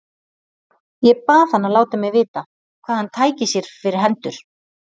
Ég bað hann að láta mig vita, hvað hann tæki sér fyrir hendur.